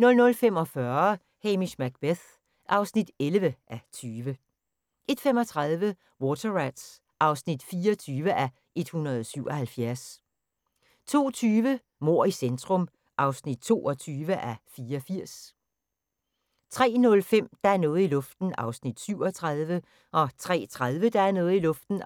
00:45: Hamish Macbeth (11:20) 01:35: Water Rats (24:177) 02:20: Mord i centrum (22:84) 03:05: Der er noget i luften (37:320) 03:30: Der er noget i luften